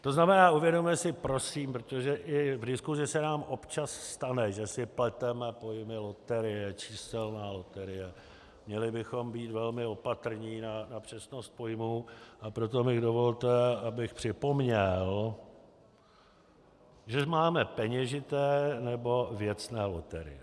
To znamená, uvědomme si prosím, protože i v diskusi se nám občas stane, že si pleteme pojmy loterie, číselná loterie, měli bychom být velmi opatrní na přesnost pojmů, a proto mi dovolte, abych připomněl, že máme peněžité nebo věcné loterie.